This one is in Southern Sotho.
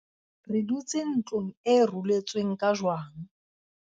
re dutse ntlong e ruletsweng ka jwang